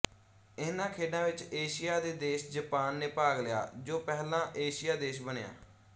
ਇਹਨਾਂ ਖੇਡਾਂ ਵਿੱਚ ਏਸ਼ੀਆ ਦੇ ਦੇਸ਼ ਜਾਪਾਨ ਨੇ ਭਾਗ ਲਿਆ ਜੋ ਪਹਿਲਾ ਏਸ਼ੀਆ ਦੇਸ਼ ਬਣਿਆ